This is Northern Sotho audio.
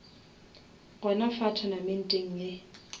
gona fa tournamenteng ye